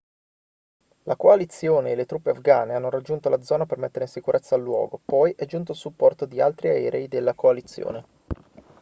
la coalizione e le truppe afghane hanno raggiunto la zona per mettere in sicurezza il luogo poi è giunto il supporto di altri aerei della coalizione